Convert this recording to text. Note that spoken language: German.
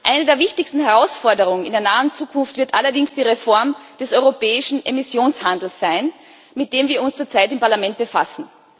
Eine der wichtigsten Herausforderungen in der nahen Zukunft wird allerdings die Reform des europäischen Emissionshandels sein, mit dem wir uns zurzeit im Parlament befassen.